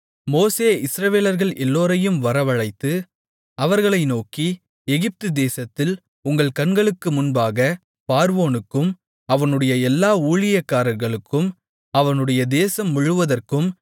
மோசே இஸ்ரவேலர்கள் எல்லோரையும் வரவழைத்து அவர்களை நோக்கி எகிப்து தேசத்தில் உங்கள் கண்களுக்கு முன்பாகப் பார்வோனுக்கும் அவனுடைய எல்லா ஊழியக்காரர்களுக்கும் அவனுடைய தேசம் முழுவதற்கும்